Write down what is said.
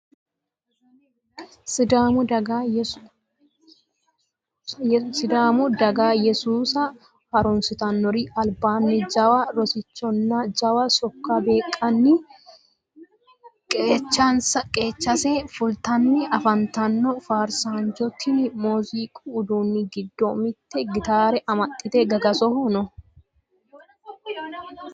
Sidaamu daga yesuusa harunsittanori albaani jawa rosichonna jawa seekko beekkanni qeechase fultanni afantano faarsancho tini muziiqu uduuni giddo mitto gitare amaxite gagasoho no